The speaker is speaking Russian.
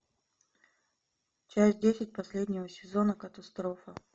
часть десять последнего сезона катастрофа